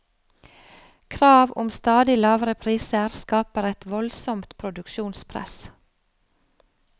Krav om stadig lavere priser skaper et voldsomt produksjonspress.